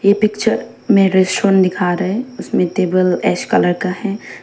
ये पिक्चर में रेस्टोरेंट दिखा रहा है उसमें टेबल ऐश कलर का है।